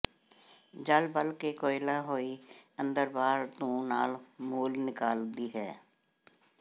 ਜਲ਼ ਬਲ ਕੇ ਕੋਇਲਾ ਹੋਈ ਅੰਦਰ ਬਾਹਰ ਧੂੰ ਨਾ ਮੂਲ ਨਿਕਾਲਦੀ ਏ